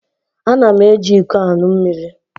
Ana m eji iko aṅụ mmiri.